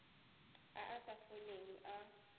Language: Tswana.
a a sa foleng e